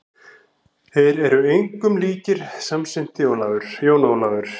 Þeir eru engum líkir, samsinnti Jón Ólafur.